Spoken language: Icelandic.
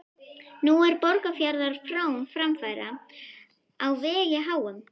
Nú er Borgarfjarðar frón framfara á vegi háum.